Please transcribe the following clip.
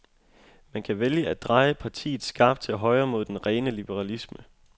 Man kan vælge at dreje partiet skarpt til højre, mod den rene liberalisme.